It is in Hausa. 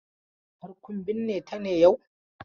Har kun binne ta ne yau?